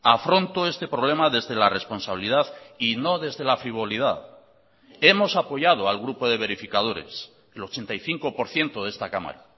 afronto este problema desde la responsabilidad y no desde la frivolidad hemos apoyado al grupo de verificadores el ochenta y cinco por ciento de esta cámara